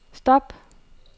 stop